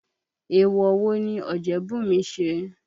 Èèwọ̀ wo ni Ọ̀jẹ́bùnmi ṣe?